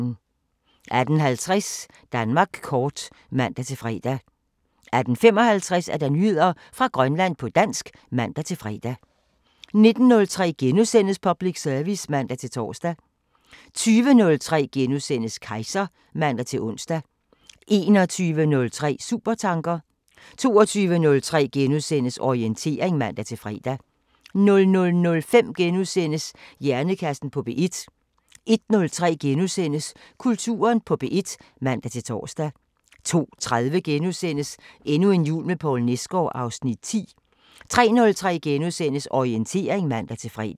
18:50: Danmark kort (man-fre) 18:55: Nyheder fra Grønland på dansk (man-fre) 19:03: Public service *(man-tor) 20:03: Kejser *(man-ons) 21:03: Supertanker 22:03: Orientering *(man-fre) 00:05: Hjernekassen på P1 * 01:03: Kulturen på P1 *(man-tor) 02:30: Endnu en jul med Poul Nesgaard (Afs. 10)* 03:03: Orientering *(man-fre)